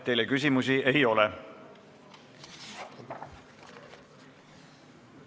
Teile küsimusi ei ole.